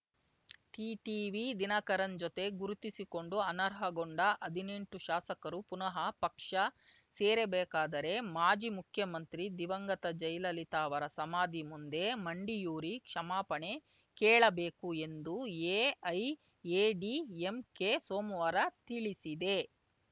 TTV Dhinakaran ಜೊತೆ ಗುರುತಿಸಿಕೊಂಡು ಅನರ್ಹಗೊಂಡ ಹದಿನೆಂಟು ಶಾಸಕರು ಪುನಃ ಪಕ್ಷ ಸೇರಬೇಕಾದರೆ ಮಾಜಿ ಮುಖ್ಯಮಂತ್ರಿ ದಿವಂಗತ ಜಯಲಲಿತಾ ಅವರ ಸಮಾಧಿ ಮುಂದೆ ಮಂಡಿಯೂರಿ ಕ್ಷಮಾಪಣೆ ಕೇಳಬೇಕು ಎಂದು ಎಐಎಡಿಎಂಕೆ ಸೋಮ್ವಾರ ತಿಳಿಸಿದೆ